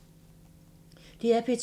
DR P2